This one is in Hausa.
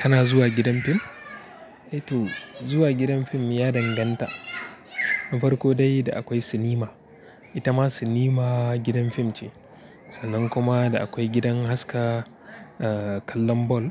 Kana zuwa gidan fim? E tu, zuwa gidan fim ya danganta. Na farko dai da akwai sinima. Ita ma sinima gidan fim ce. Sannan kuma da akwai gidan haska, eh, kallon bal.